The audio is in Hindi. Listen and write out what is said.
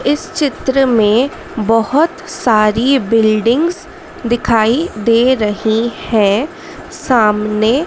इस चित्र में बहोत सारी बिल्डिंग्स दिखाई दे रही है सामने--